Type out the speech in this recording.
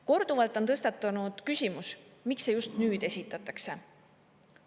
Korduvalt on tõstatunud küsimus, miks see just nüüd esitatakse.